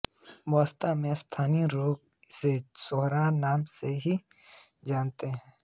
वास्तव में स्थानीय लोग इसे सोहरा नाम से ही जानते हैं